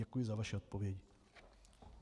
Děkuji za vaši odpověď.